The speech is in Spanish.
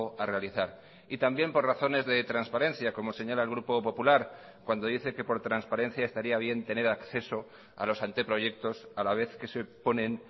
a realizar y también por razones de transparencia como señala el grupo popular cuando dice que por transparencia estaría bien tener acceso a los anteproyectos a la vez que se ponen